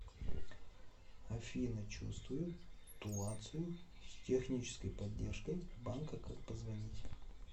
афина чувствую туацию с технической поддержкой банка как позвонить